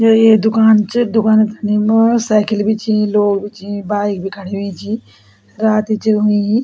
यु एक दूकान च दूकान थनी म साइकिल भी छी लोग भी छी बाइक भी खड़ीं हुईं छी रात च हुईं।